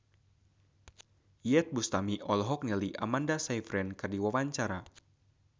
Iyeth Bustami olohok ningali Amanda Sayfried keur diwawancara